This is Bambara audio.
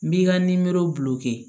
N b'i ka nimorow bul'u kɛ